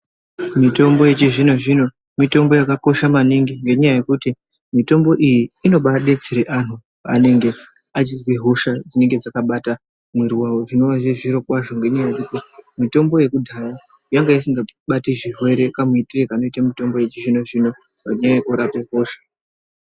Mitombo yechizvino zvino mitombo yakakosha maningi nenyaya yekuti mitombo iyi inobadetsere anhu anenge achizwa hosha dzinenge dzakabata mwiri zvinova zviri zviro kwazvo ngenyaya yekuti mitombo yekudhaya yanga isingabati zvirwere kamuitiro kanoita mitombo yechizvinozvino pakurape hosha.